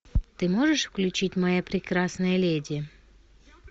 ты можешь включить моя прекрасная леди